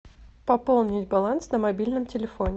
пополнить баланс на мобильном телефоне